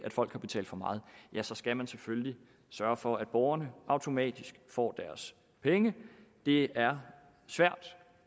folk har betalt for meget så skal man selvfølgelig sørge for at borgerne automatisk får deres penge det er svært